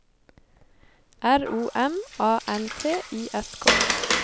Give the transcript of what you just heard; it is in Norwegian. R O M A N T I S K